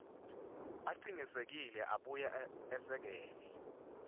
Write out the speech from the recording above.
acinisekise abuye esekele